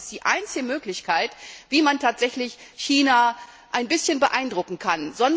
Ich glaube, das ist die einzige Möglichkeit, wie man tatsächlich China ein bisschen beeindrucken kann.